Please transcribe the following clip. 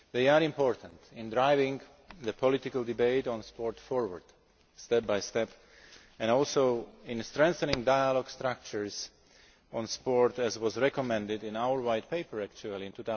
They are important in driving the political debate on sport forward step by step and also in strengthening dialogue structures on sport, as was recommended in our white paper in